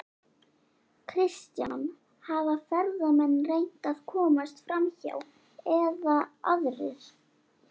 Kristján: Hafa ferðamenn reynt að komast framhjá eða aðrir?